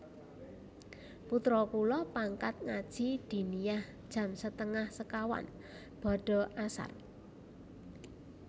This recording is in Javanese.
Putro kula pangkat ngaji diniyah jam setengah sekawan bada asar